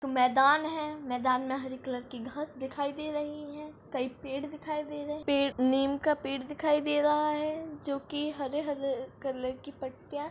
तो मैदान है मैदान मे हरे कलर की घास देखाई दे रही है कही पेड़ देखाई दे रहे है पेड़ नीम का पेड़ दिखाई दे रहा है जो की हरे-हरे कलर की पत्तीया--